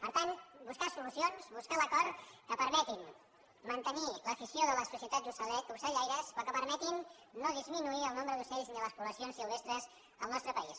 per tant buscar solucions buscar l’acord que permeti mantenir l’afició de les societats ocellaires però que permetin no disminuir el nombre d’ocells ni les poblacions silvestres en el nostre país